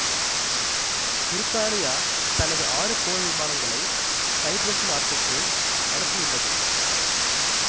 பிரித்தானியா தனது ஆறு போர் விமானங்களை சைப்பிரசு நாட்டுக்கு அனுப்பியுள்ளது